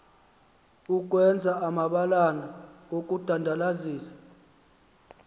ukwenza amabalana okudandalazisa